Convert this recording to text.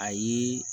Ayi